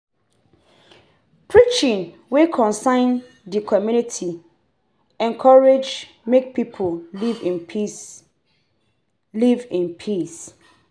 Preaching wey concern di community encourage make pipo live in peace live in peace